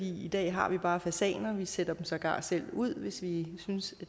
i dag har vi bare fasaner vi sætter dem sågar selv ud hvis vi synes